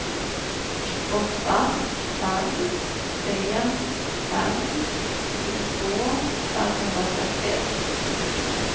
åtta fem tre fem tjugotvå femhundrasextioett